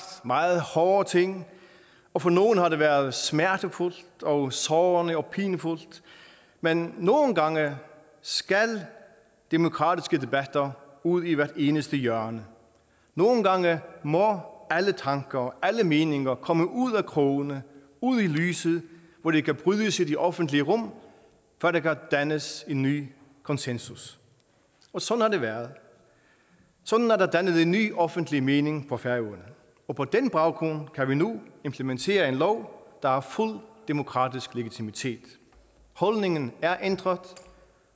meget hårde ting og for nogle har det været smertefuldt sårende sårende og pinefuldt men nogle gange skal demokratiske debatter ud i hvert eneste hjørne nogle gange må alle tanker og alle meninger komme ud af krogene ud i lyset hvor de kan brydes i det offentlige rum før der kan dannes en ny konsensus og sådan har det været sådan er der blevet dannet en ny offentlig mening på færøerne og på den baggrund kan vi nu implementere en lov der har fuld demokratisk legitimitet holdningen er ændret